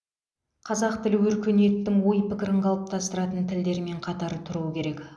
қазақ тілі өркениеттің ой пікірін қалыптастыратын тілдермен қатар тұруы керек